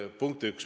Punkt 1.